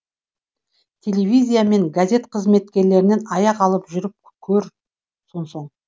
телевизия мен газет қызметкерлерінен аяқ алып жүріп көр сонсоң